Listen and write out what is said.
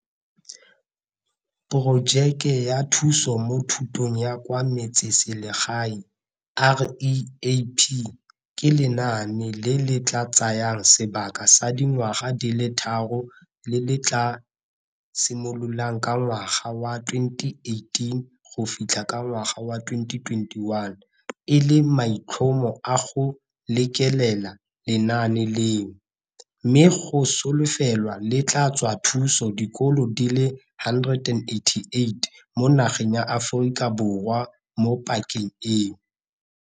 Porojeke ya Thuso mo Thutong ya kwa Metseselegae REAP ke lenaane le le tla tsayang sebaka sa dingwaga di le tharo le le tla simololang ka ngwaga wa 2018 go fitlha ka ngwaga wa 2021 e le maitlhomo a go lekelela lenaane leno, mme go solofelwa le tla tswa thuso dikolo di le 188 mo nageng ya Aforika Borwa mo pakeng eo.